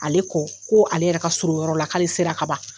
Ale ko ko ale yɛrɛ surun o yɔrɔ la k'ale sera kaban.